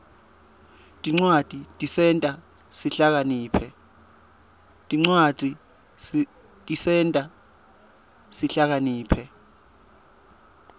tincwadzi tisenta sihlakaniphe